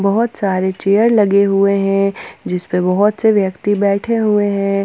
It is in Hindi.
बहोत सारे चेयर लगे हुए हैं जिसपे बहोत से व्यक्ति बैठे हुए हैं।